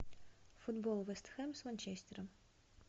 футбол вест хэм с манчестером